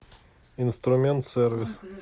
инструмент сервис